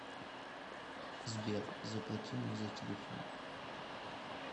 сбер заплати мне за телефон